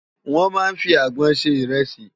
Wòn má n fi ágbòn sé irèsi